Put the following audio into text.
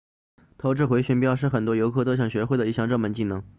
投掷回旋镖是很多游客都想学会的一项热门技能